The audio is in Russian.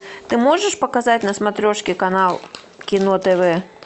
ты можешь показать на смотрешке канал кино тв